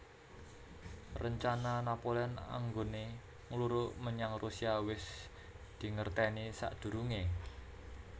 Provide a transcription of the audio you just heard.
Rencana Napoleon anggoné ngluruk menyang Rusia wis dingertèni sakdurungé